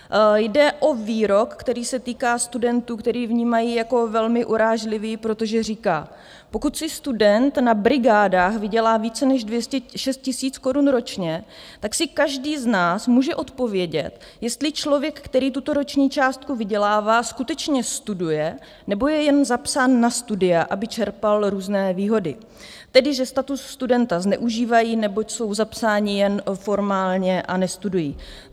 Jde o výrok, který se týká studentů, který vnímají jako velmi urážlivý, protože říká: "Pokud si student na brigádách vydělá více než 206 000 korun ročně, tak si každý z nás může odpovědět, jestli člověk, který tuto roční částku vydělává, skutečně studuje, nebo je jen zapsán na studia, aby čerpal různé výhody, tedy že status studenta zneužívají, neboť jsou zapsáni jen formálně a nestudují."